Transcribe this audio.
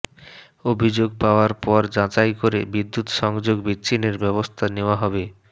অভিযোগ পাওয়ার পর যাচাই করে বিদ্যুৎ সংযোগ বিচ্ছিন্নের ব্যবস্থা নেওয়া হবে